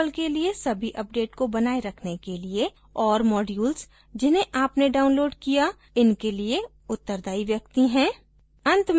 खासकर यदि आप drupal के लिए सभी अपडेट को बनाए रखने के लिए और modules जिन्हें आपने download किया इनके लिए उत्तरदायी व्यक्ति हैं